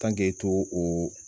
to o